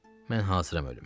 Mən hazıram ölümə.